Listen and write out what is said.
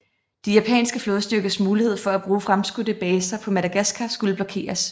De japanske flådestyrkers mulighed for at bruge fremskudte baser på Madagaskar skulle blokeres